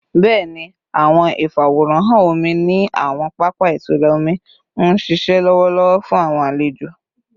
Bẹẹni, awọn ifaworanhan omi ni awọn papa itura omi n ṣiṣẹ lọwọlọwọ fun awọn alejo